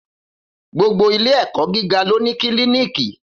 Gbogbo ìlé ẹkọ gígà ló ní Kílìníkì